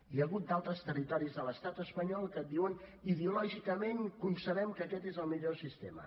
hi ha hagut d’altres territoris de l’estat espanyol que diuen ideològicament concebem que aquest és el millor sistema